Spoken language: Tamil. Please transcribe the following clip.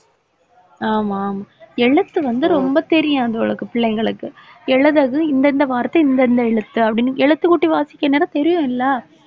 ஆமா ஆமா எழுத்து வந்து ரொம்பத்தெரியாது பிள்ளைங்களுக்கு எழுதுறது இந்த இந்த வார்த்தை இந்த இந்த எழுத்து அப்படீன்னு எழுத்துக்கூட்டி வாசிக்க இந்நேரம் தெரியும் இல்ல